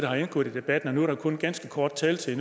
har indgået i debatten nu er der kun ganske kort taletid